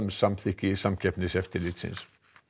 samþykki Samkeppniseftirlitsins